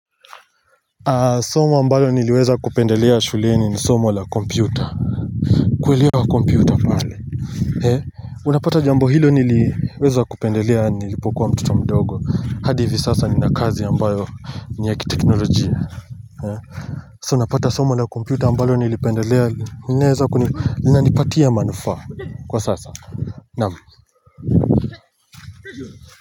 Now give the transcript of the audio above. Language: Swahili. Somo ambalo niliweza kupendelea shuleni ni somo la kompyuta kuweliwa kompyuta pale unapata jambo hilo niliweza kupendelea nilipokuwa mtoto mdogo hadi hivi sasa ninakazi ambayo ni ya kiteknolojia hea so unapata somo la kompyuta ambalo nilipendelea nileza nilinipatia manufa kwa sasa naamu.